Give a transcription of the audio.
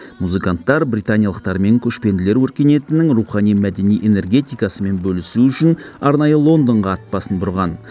музыканттар британиялықтармен көшпенділер өркениетінің рухани мәдени энергетикасымен бөлісу үшін арнайы лондонға ат басын бұрған